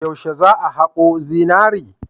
Yaushe za a hako zinari?